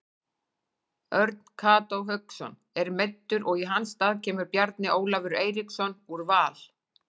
Örn Kató Hauksson er meiddur og í hans stað kemur Bjarni Ólafur Eiríksson úr Val.